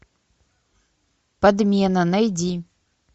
подмена найди